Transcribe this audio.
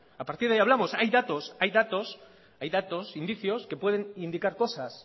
a partir de ahí hablamos hay datos indicios que pueden indicar cosas